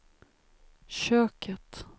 köket